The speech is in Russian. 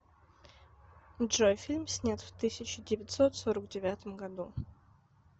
джой фильм снят в тысяча девятьсот сорок девятом году